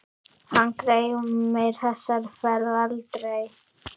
Hann gleymir þessari ferð aldrei.